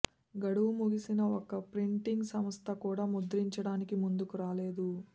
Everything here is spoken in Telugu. గడువు ముగిసినా ఒక్క ప్రింటింగ్ సంస్థ కూడా ముద్రించడానికి ముందుకు రాలేదు